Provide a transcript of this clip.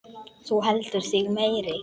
Þú heldur þig meiri.